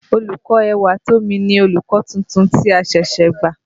Olùkọ́ Ẹwàtómi ni olùkọ́ tuntun tí a ṣẹ̀ṣẹ̀ gbà.